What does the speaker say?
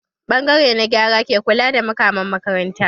Ɓangare na gyara ke kula da makaman makaranta.